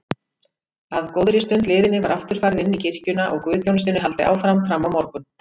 Að góðri stund liðinni var aftur farið inní kirkjuna og guðsþjónustunni haldið áfram frammá morgun.